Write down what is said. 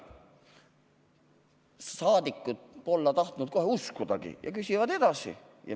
Rahvasaadikud ei taha aga kohe uskudagi ja küsivad edasi.